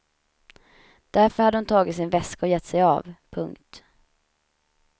Därför hade hon tagit sin väska och gett sig av. punkt